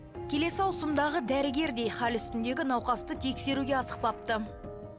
келісі ауысымдағы дәрігер де хал үстіндегі науқасты тексеруге асықпапты